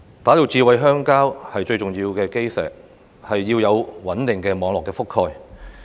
打造"智慧鄉郊"最重要的基石是要有穩定的網絡覆蓋。